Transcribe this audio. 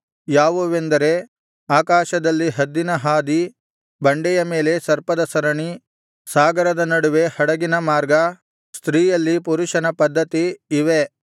ಯಾವುವೆಂದರೆ ಆಕಾಶದಲ್ಲಿ ಹದ್ದಿನ ಹಾದಿ ಬಂಡೆಯ ಮೇಲೆ ಸರ್ಪದ ಸರಣಿ ಸಾಗರದ ನಡುವೆ ಹಡಗಿನ ಮಾರ್ಗ ಸ್ತ್ರೀಯಲ್ಲಿ ಪುರುಷನ ಪದ್ಧತಿ ಇವೇ